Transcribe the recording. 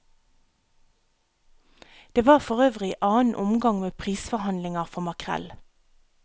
Det var for øvrig annen omgang med prisforhandlinger for makrell.